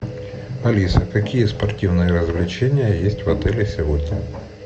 алиса какие спортивные развлечения есть в отеле сегодня